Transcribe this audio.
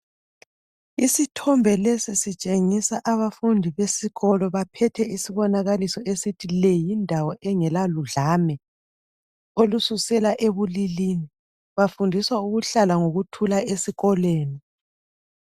Isithombe lesi sitshengisa abafundi besikolo baphethe isibonakaliso esithi leyindawo engelaludlame olususela ebulilini. Bafundiswa ukuhlala ngokuthula esikoleni.